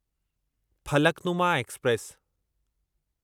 Falaknuma express